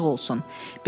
Gözün açıq olsun.